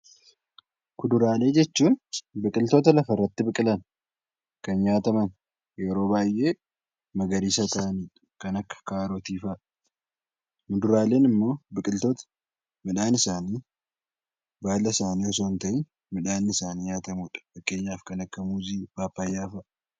Kuduraalee jechuun biqiltoota lafa irratti biqilan, kan nyaataman yeroo baay'ee magariisa ta'ani dha. Kan akka Kaarotii fa'a. Muduraaleen immoo biqiltoota midhaan isaanii baala isaanii utuu hin ta'an midhaan isaanii nyaatamu dha. Kan akka Muuzii, Paappayyaa fa'a.